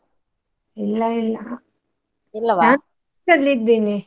ಇಲ್ಲ ಇಲ್ಲ ಇದ್ದೇನೆ.